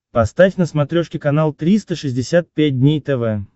поставь на смотрешке канал триста шестьдесят пять дней тв